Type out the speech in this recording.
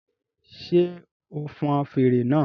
Ṣé o n fọn fèrè náà?